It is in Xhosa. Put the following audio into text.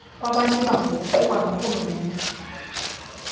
kwabanebango kuqukwa norhulumente